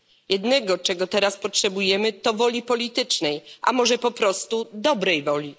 Jednego, czego teraz potrzebujemy, to woli politycznej, a może po prostu dobrej woli.